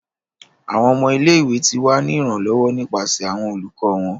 Awọn ọmọ ile-iwe ti wa ni iranlọwọ nipasẹ awọn olukọ wọn.